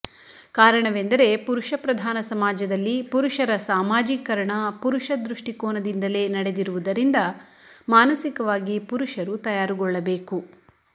ಕಾರಣವೆಂದರೆ ಪುರುಷ ಪ್ರಧಾನ ಸಮಾಜದಲ್ಲಿ ಪುರುಷರ ಸಾಮಾಜೀಕರಣ ಪುರುಷ ದೃಷ್ಟಿಕೋನದಿಂದಲೇ ನಡೆದಿರುವುದರಿಂದ ಮಾನಸಿಕವಾಗಿ ಪುರುಷರು ತಯಾರುಗೊಳ್ಳಬೇಕು